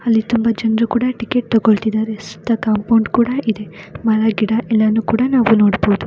ಅಲ್ಲಿ ತುಂಬಾ ಜನ್ರು ಕೂಡ ಟಿಕೆಟ್ ತಗೊಳ್ತಿದಾರೆ ಸುತ್ತ ಕಾಂಪೌಂಡ್ ಕೂಡ ಇದೆ. ಮರ ಗಿಡ ಎಲ್ಲನ್ನು ಕೂಡ ನಾವು ನೋಡಬಹುದು.